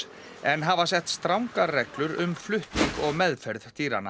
en hafa sett strangar reglur um flutning og meðferð dýranna